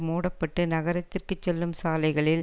மூடப்பட்டு நகரத்திற்கு செல்லும் சாலைகளில்